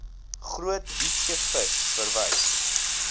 groot diepseevis verwys